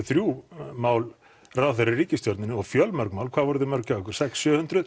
þrjú mál um ráðherra í ríkisstjórninni og fjölmörg mál hvað voru þau mörg hjá ykkur sex hundruð